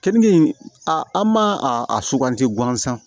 Keninge in a an m'a a suganti gansan